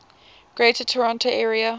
greater toronto area